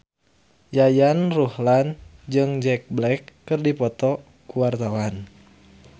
Yayan Ruhlan jeung Jack Black keur dipoto ku wartawan